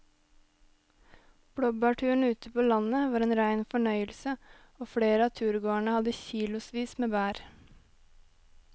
Blåbærturen ute på landet var en rein fornøyelse og flere av turgåerene hadde kilosvis med bær.